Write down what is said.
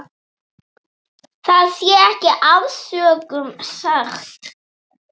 Það sé ekki ofsögum sagt.